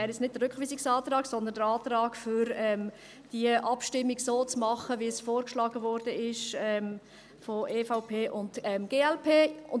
Ich meine jetzt nicht den Rückweisungsantrag, sondern den Antrag, die Abstimmung so zu machen, wie es von der EVP und der glp vorgeschlagen wurde.